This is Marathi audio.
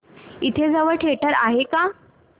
इथे जवळ थिएटर आहे का